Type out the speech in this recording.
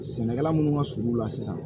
Sɛnɛkɛla minnu ka surun u la sisan